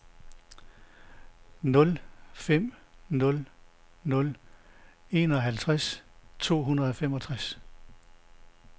nul fem nul nul enoghalvtreds to hundrede og femogtres